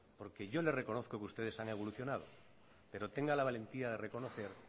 porque yo le reconozco que ustedes han evolucionado pero tenga la valentía de reconocer